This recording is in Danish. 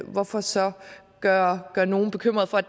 hvorfor så gøre gøre nogle bekymrede for